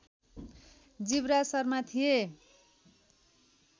जीवराज शर्मा थिए